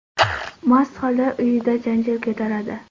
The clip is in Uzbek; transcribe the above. mast holda uyida janjal ko‘taradi.